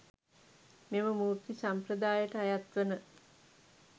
මෙම මූර්ති සම්ප්‍රදායට අයත් වන